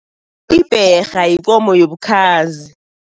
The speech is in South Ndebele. Ibherha yikomo yobukhazi.